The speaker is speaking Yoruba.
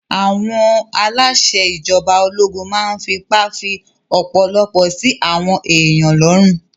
Àwọn aláṣẹ ìjọba ológun máa n fipá fí ọ̀pọ̀lọpọ̀ sí àwọn èèyàn lọ́rùn